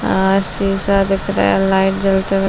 आ शीशा दिख रहा है लाइट जलते हुए --